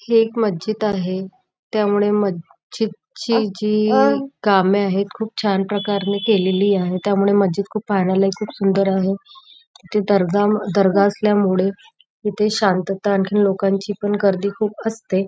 हे एक मशीद आहे त्यामुळे मशीद ची जी काम आहेत ती खुप छान प्रकारे केलेले आहेत त्यामुळे मशीद पाहायला खुप सुंदर आहे इथे दर्गा दर्गा असल्यामुळे शांतात आणखी लोकांची गर्दी पण खुप असते.